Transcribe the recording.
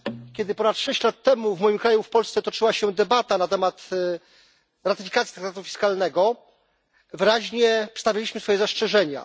Kiedy ponad sześć lat temu w moim kraju, w Polsce, toczyła się debata na temat ratyfikacji traktatu fiskalnego, wyraźnie przedstawiliśmy swoje zastrzeżenia.